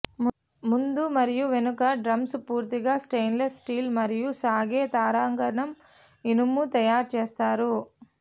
ముందు మరియు వెనుక డ్రమ్స్ పూర్తిగా స్టెయిన్లెస్ స్టీల్ మరియు సాగే తారాగణం ఇనుము తయారు చేస్తారు